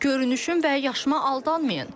Görünüşüm və yaşıma aldanmayın.